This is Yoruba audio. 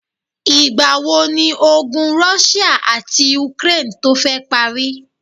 Ìgbà wo ni ogun Russia àti Ukraine tó fẹ parí?